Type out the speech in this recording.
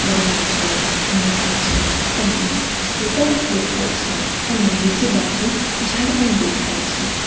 દરવાજોની પાછળ આપણને સ્કૂટર દેખાય છે અને બીજી બાજુ ઝાડ પણ દેખાય છે.